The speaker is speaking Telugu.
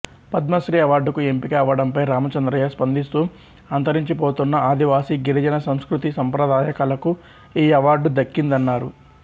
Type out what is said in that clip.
పద్మశ్రీ అవార్డుకు ఎంపిక అవ్వడంపై రామచంద్రయ్య స్పందిస్తూ అంతరించిపోతున్న ఆదివాసీ గిరిజన సంస్కృతి సంప్రదాయ కళకు ఈ అవార్డు దక్కిందన్నారు